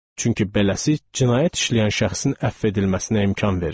Çünki beləsi cinayət işləyən şəxsin əfv edilməsinə imkan verir.